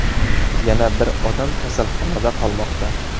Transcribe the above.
Yana bir odam kasalxonada qolmoqda.